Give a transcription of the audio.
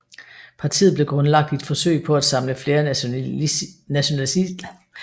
Partiet blev grundlagt i et forsøg på at samle flere nationalistiske partier og bevægelser i Frankrig